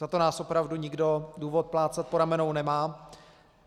Za to nás opravdu nikdo důvod plácat po ramenou nemá.